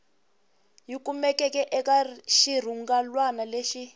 yi kumeke eka xirungulwana lexi